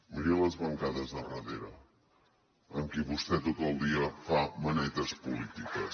miri les bancades de darrere amb qui vostè tot el dia fa manetes polítiques